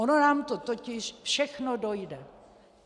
Ono nám to totiž všechno dojde.